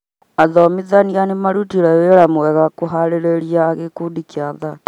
Athomithania ni marutire wĩra mwega kũharĩria gikundi kia athaki